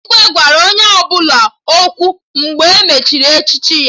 Igwe gwara onye ọbụla okwu mgbe e mechara echichi ya